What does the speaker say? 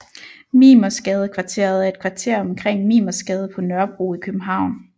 Mimersgadekvarteret er et kvarter omkring Mimersgade på Nørrebro i København